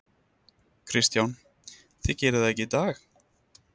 Kristján: Þið gerið það ekki í dag?